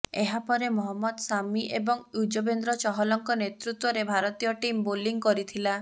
ଏହା ପରେ ମହମ୍ମଦ ସାମି ଏବଂ ୟୁଜବେନ୍ଦ୍ର ଚହଲଙ୍କ ନେତୃତ୍ୱରେ ଭାରତୀୟ ଟିମ୍ ବୋଲିଂ କରିଥିଲା